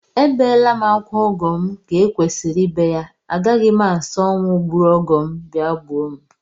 Ebeela m akwa ọgọ m ka e kwesịrị ibe ya, agaghị m asị ọnwụ gburu ọgọ m bịa gbuo m